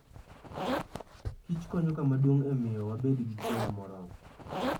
Kich konyo kama duong' e miyo wabed gi chiemo moromo.